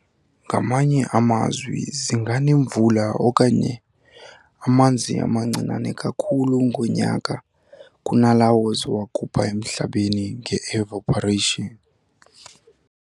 Ngamanye amazwi, zinganemvula okanye amanzi amancinane kakhulu ngonyaka kunalawo ziwakhupha emhlabeni ngeevaporation".